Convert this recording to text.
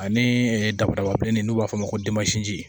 Ani dababilennin n'u b'a fɔ o ma ko